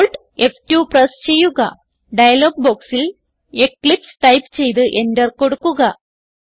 Alt F two press ചെയ്യുക dialogue ബോക്സിൽ Eclipse type ചെയ്ത് എന്റർ കൊടുക്കുക